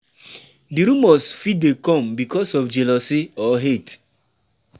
Di rumours fit dey come becuase of jealousy or hate